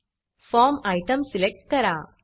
form form item select करा